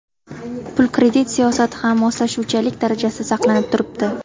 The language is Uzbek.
Pul-kredit siyosati ham moslashuvchanlik darajasida saqlanib turibdi.